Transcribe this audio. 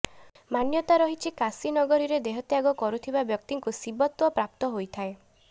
ମାନ୍ୟତା ରହିଛି କାଶୀ ନଗରୀରେ ଦେହ ତ୍ୟାଗ କରୁଥିବା ବ୍ୟକ୍ତିଙ୍କୁ ଶିବତ୍ୱ ପ୍ରାପ୍ତ ହୋଇଥାଏ